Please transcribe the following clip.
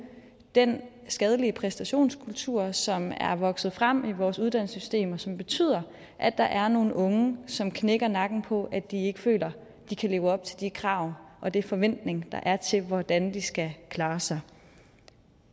den skadelige præstationskultur som er vokset frem i vores uddannelsessystem som betyder at der er nogle unge som knækker nakken på at de ikke føler at de kan leve op til de krav og de forventninger der er til hvordan de skal klare sig